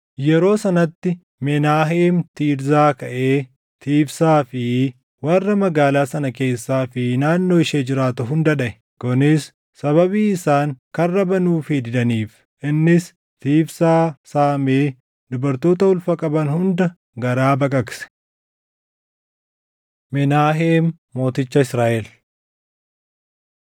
Yeroo sanatti, Menaaheem Tiirzaa kaʼee Tiifsaa fi warra magaalaa sana keessaa fi naannoo ishee jiraatu hunda dhaʼe; kunis sababii isaan karra banuufii didaniif. Innis Tiifsaa saamee dubartoota ulfa qaban hunda garaa baqaqse. Menaaheem Mooticha Israaʼel